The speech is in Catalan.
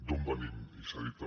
d’on venim i s’ha dit també